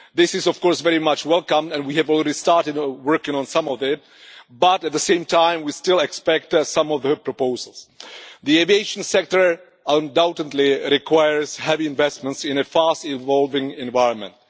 This is, of course, very welcome and we have already started working on some of it, but, at the same time, we still are still awaiting some of the proposals. The aviation sector undoubtedly requires heavy investment in a fast evolving environment.